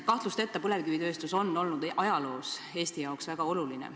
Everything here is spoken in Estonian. Kahtlusteta on põlevkivitööstus olnud ajaloos Eesti jaoks väga oluline.